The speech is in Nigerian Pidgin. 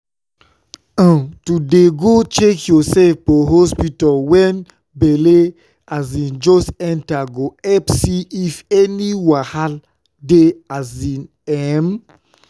um to dey go check yoursef for hospta wen belle um just enta go epp see if any wahal dey asin emm